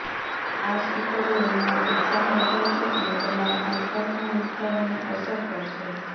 આ સ્ટીકરો રૂમમાં ઉત્સાહ વધારશે અને તમારા આસપાસના વિસ્તારોને અસર કરશે